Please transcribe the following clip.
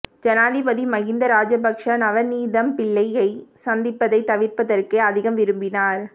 ஜனாதிபதி மஹிந்த ராஜபக்ஷ நவநீதம்பிள்ளையை சந்திப்பதை தவிர்ப்பதற்கே அதிகம் விருப்பினார்